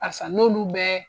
Barisa n'oolu bɛɛ